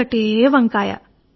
ఒకటే వంకాయ